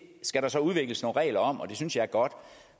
skal der så udvikles nogle regler om og det synes jeg er godt